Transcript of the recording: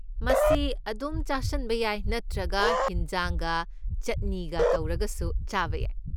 ꯃꯁꯤ ꯑꯗꯨꯝ ꯆꯥꯁꯟꯕ ꯌꯥꯏ ꯅꯠꯇ꯭ꯔꯒ ꯍꯤꯟꯖꯥꯡꯒ ꯆꯠꯅꯤꯒ ꯇꯧꯔꯒꯁꯨ ꯆꯥꯕ ꯌꯥꯏ꯫